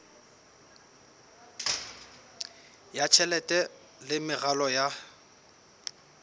ya tjhelete le meralo ya